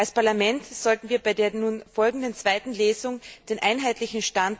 Als Parlament sollten wir bei der nun folgenden zweiten Lesung den einheitlichen Standpunkt